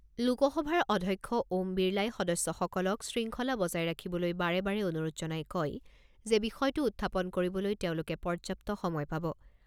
লোকসভাৰ অধ্যক্ষ ওম বিৰলাই সদস্যসকলক শৃংখলা বজাই ৰাখিবলৈ বাৰে বাৰে অনুৰোধ জনাই কয় যে বিষয়টো উত্থাপন কৰিবলৈ তেওঁলোকে পৰ্যাপ্ত সময় পাব।